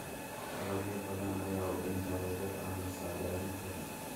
Dalagyo badan ayaa u dhinta roobab aan la saadaalin karin.